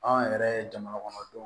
Anw yɛrɛ jamanakɔnɔdenw